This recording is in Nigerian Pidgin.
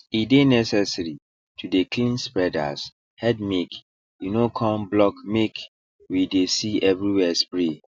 e dey necessary to dey clean spreaders headmake e no come blockmake we dey see everywhere spray